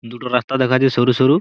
দুটো রাস্তা দেখাযে শুরু শুরু।